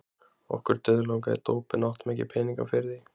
Okkur dauðlangaði í dóp en áttum ekki peninga fyrir því.